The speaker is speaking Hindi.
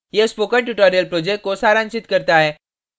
यह spoken tutorial को सारांशित करता है